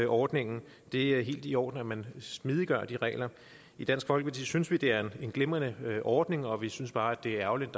ordningen det er helt i orden at man smidiggør de regler i dansk folkeparti synes vi at det er en glimrende ordning og vi synes bare det er ærgerligt